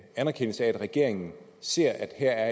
anerkendelse af at regeringen ser at der